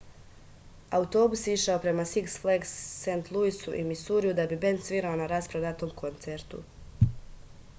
autobus je išao prema siks flags sv luisu u misuriju da bi bend svirao na rasprodatom koncertu